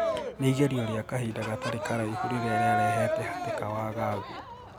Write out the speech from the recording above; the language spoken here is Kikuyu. Ni igerio ria kahinda gatari karaihu riria riarehete hatika wagagu.